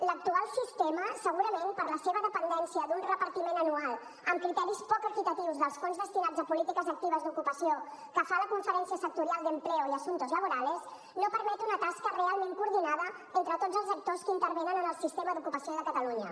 l’actual sistema segurament per la seva dependència d’un repartiment anual amb criteris poc equitatius dels fons destinats a polítiques actives d’ocupació que fa la conferència sectorial de empleo y asuntos laborales no permet una tasca realment coordinada entre tots els actors que intervenen en el sistema d’ocupació de catalunya